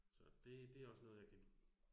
Så det det også noget jeg kan lide